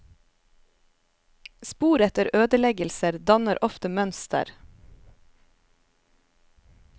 Spor etter ødeleggelser danner ofte mønster.